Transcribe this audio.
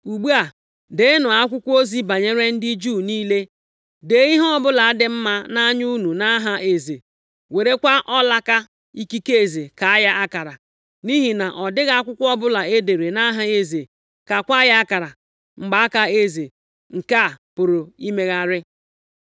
Ugbu a, deenụ akwụkwọ ozi banyere ndị Juu niile, dee ihe ọbụla dị mma nʼanya unu nʼaha eze. Werekwa ọlaaka ikike eze kaa ya akara, nʼihi na ọ dịghị akwụkwọ ọbụla e dere nʼaha eze, kaakwa ya akara mgbaaka eze nke a pụrụ imegharị.”